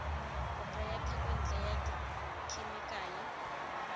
kopo ya thekontle ya dikhemikale